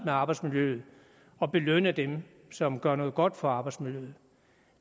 med arbejdsmiljøet og belønne dem som gør noget godt for arbejdsmiljøet